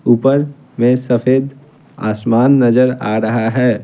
ऊपर में सफेद आसमान नजर आ रहा है।